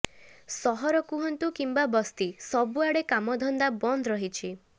ସହର କୁହନ୍ତୁ କିମ୍ବା ବସ୍ତି ସବୁଆଡ଼େ କାମଧନ୍ଦା ବନ୍ଦ ରହିଛି